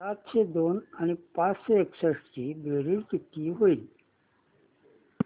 सातशे दोन आणि पाचशे एकसष्ट ची बेरीज किती होईल